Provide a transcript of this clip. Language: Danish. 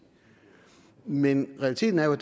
men realiteten er jo